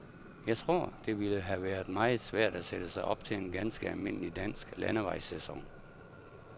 Jeg tror, det ville have været meget svært at sætte sig op til en ganske almindelig dansk landevejssæson.